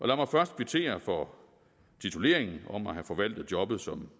lad mig først kvittere for tituleringen om at have forvaltet jobbet som